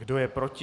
Kdo je proti?